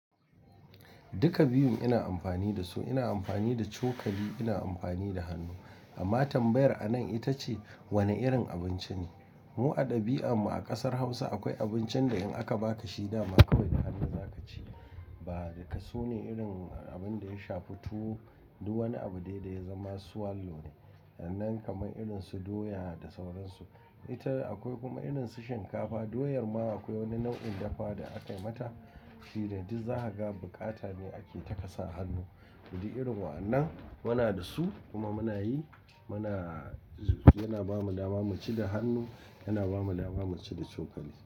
Duka biyun ina amfani da su, ina amfani da cokali, ina amfani da hannu. Amma tambayar anan ita ce wane irin abinci ne? Mu a dabi'armu a ƙasar Hausa akwai abincin da in aka ba ka shi dama kawai da hannu za ka ci ba. Daka sune irin abin da ya shafi tu du wani abu dai dai ya zama swallow ne. Nan kamar irin su doya da sauransu. Ita akwai kuma irin su shinkafa. Doyar ma akwai wani nau'in dafa da aka yi mata fiye da duk za ka ga bukata ne ake taka sa hannu. Duk irin wayannan muna da su kuma muna yi. Muna yana ba mu dama mu ci da hannu, yana ba mu dama mu ci da cokali.